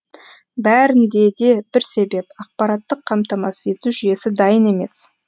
бәрінде де бір себеп ақпараттық қамтамасыз ету жүйесі дайын емес